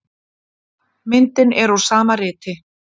Myndin eru úr sama riti.